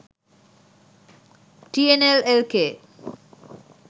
tnl lk